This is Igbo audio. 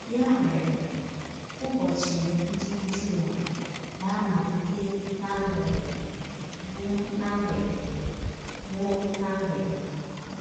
Ya mere, ụbọchị ndị Jụụ na - amalite ná mgbede, gwụ ná mgbede gwụ ná mgbede.